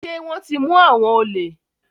Ṣé wọ́n ti mú àwọn olè?